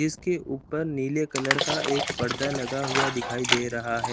इसके ऊपर नीले कलर का एक पर्दा लगा हुआ दिखाई दे रहा है।